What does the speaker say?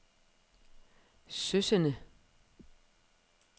Søsende